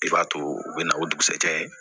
I b'a to u bɛ na o dugusajɛ